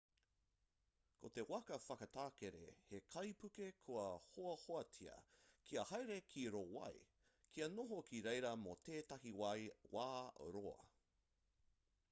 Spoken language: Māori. ko te waka whakatakere he kaipuke kua hoahoatia kia haere ki rō wai kia noho ki reira mō tētahi wā roa